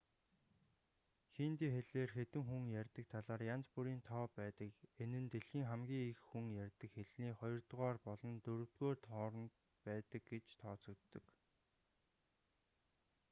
хинди хэлээр хэдэн хүн ярьдаг талаар янз бүрийн тоо байдаг энэ нь дэлхийн хамгийн их хүн ярьдаг хэлний хоёрдугаар болон дөрөвдүгээр хооронд байдаг гэж тооцогддог